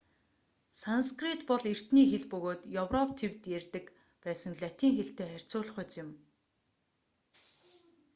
санскрит бол эртний хэл бөгөөд европ тивд ярьдаг байсан латин хэлтэй харьцуулахуйц юм